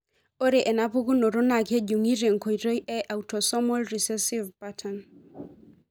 Ore enapukunoto naa kejungi tenkoitoi e autosomal recessive pattern.